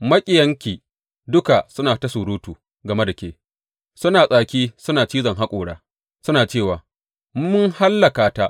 Maƙiyanki duka suna ta surutu game da ke; suna tsaki suna cizon haƙora suna cewa, Mun hallaka ta.